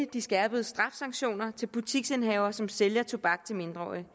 de skærpede straffesanktioner til butiksindehavere som sælger tobak til mindreårige